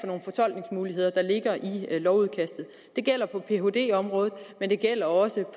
nogle fortolkningsmuligheder der ligger i lovudkastet det gælder på phd området men det gælder også